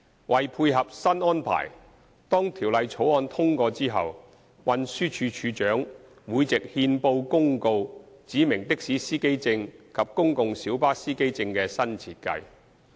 為配合新安排，當《條例草案》通過後，運輸署署長會藉憲報公告指明的士司機證及公共小巴司機證的新設計。